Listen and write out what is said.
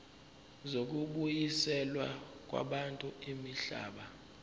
zokubuyiselwa kwabantu imihlaba